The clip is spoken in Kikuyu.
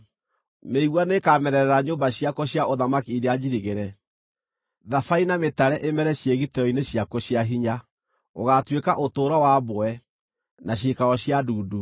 Mĩigua nĩĩkamerera nyũmba ciakuo cia ũthamaki iria njirigĩre, thabai na mĩtare ĩmere ciĩgitĩro-inĩ ciakuo cia hinya. Gũgaatuĩka ũtũũro wa mbwe, na ciikaro cia ndundu.